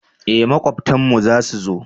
eh makwabtan mu za su zo